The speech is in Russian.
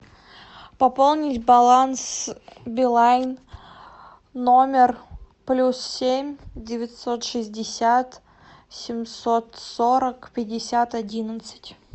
пополнить баланс билайн номер плюс семь девятьсот шестьдесят семьсот сорок пятьдесят одиннадцать